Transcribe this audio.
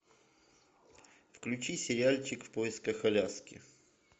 включи сериальчик в поисках аляски